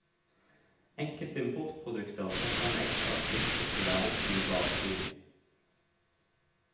Enkelte importprodukter setter en ekstra spiss på tilværelsen i badebyen.